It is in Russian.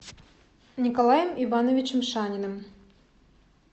николаем ивановичем шаниным